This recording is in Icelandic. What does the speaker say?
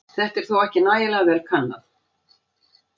Þetta er þó ekki nægilega vel kannað.